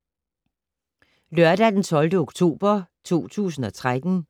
Lørdag d. 12. oktober 2013